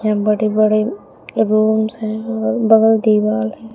बड़े बड़े रूम्स है और बगल दीवार हैं।